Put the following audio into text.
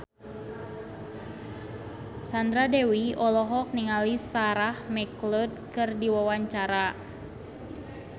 Sandra Dewi olohok ningali Sarah McLeod keur diwawancara